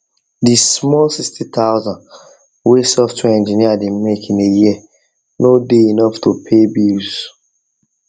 the small 60000 wey software engineer dey make in a year no dey enough to pay bills